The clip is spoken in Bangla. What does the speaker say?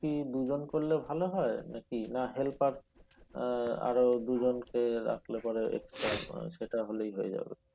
দুজন করলে ভালো হয় নাকি না হেলপার আহ আরো দুজনকে রাখলে পরে extra সেটা হলেই হয়ে যাবে?